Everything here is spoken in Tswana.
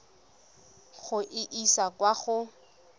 go e isa kwa go